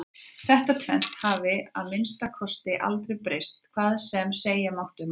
Þetta tvennt hafði að minnsta kosti aldrei breyst hvað sem segja mátti um annað.